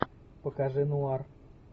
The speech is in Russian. покажи нуар